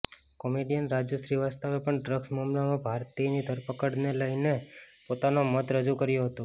comedian Raju શ્રીવાસ્તવે પણ drugs મામલામાં ભારતીની ધરપકડને લઈને પોતાનો મત રજૂ કર્યો હતો